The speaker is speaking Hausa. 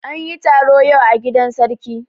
An yi taro yau a gidan sarki.